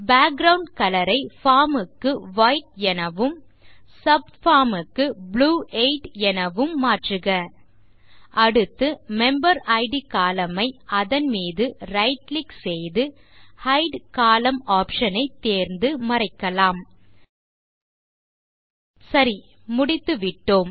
background colour ஐ form க்கு white எனவும் சப்பார்ம் க்கு ப்ளூ 8 எனவும் மாற்றுக அடுத்து மெம்பரிட் கோலம்ன் ஐ அதன் மீது ரைட் கிளிக் செய்து ஹைட் கோலம்ன் ஆப்ஷன் ஐ தேர்ந்து மறைக்கலாம் சரி முடித்துவிட்டோம்